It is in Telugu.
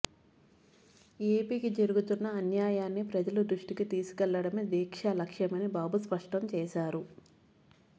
ఎపికి జరుగుతున్న అన్యాయాన్ని ప్రజల దృష్టికి తీసుకెళ్లడమే దీక్ష లక్ష్యమని బాబు స్పష్టం చేశారు